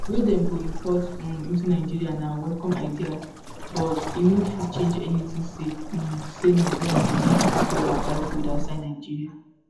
wey dem go import um into nigeria na welcome idea but e no fit change anytin sake um say nigerians go need dollar buy food outside nigeria".